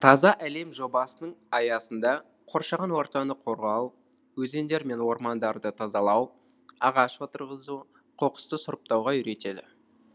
таза әлем жобасының аясында қоршаған ортаны қорғау өзендер мен ормандарды тазалау ағаш отырғызу қоқысты сұрыптауға үйретеді